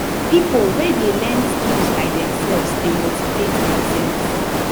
pipo wey de learn skills by themselves de motivate themselves